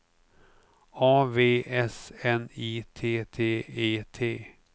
A V S N I T T E T